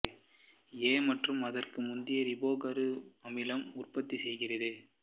எ மற்றும் அதற்கு முந்திய ரிபோ கரு அமிலம் உற்பத்தி செய்கிறது